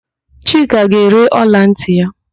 Chika ga-ere ọlantị ya.